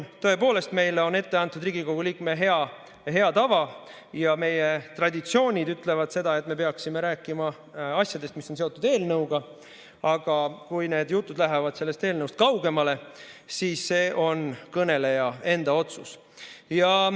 Tõepoolest, meile on ette antud Riigikogu liikme hea tava ja meie traditsioonid ütlevad, et me peaksime rääkima asjadest, mis on seotud eelnõuga, aga kui jutud lähevad sellest eelnõust kaugemale, siis see on kõneleja enda otsus.